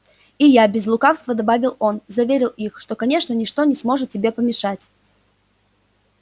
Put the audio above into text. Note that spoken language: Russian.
и я не без лукавства добавил он заверил их что конечно ничто не может тебе помешать